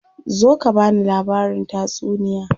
Zo ka bani labarin tatsuniya.